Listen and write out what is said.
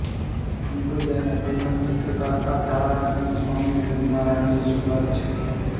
સંપ્રદાયના પ્રથમ ચિત્રકાર આધારાનંદ સ્વામીઅને નારાયણજી સુતાર છે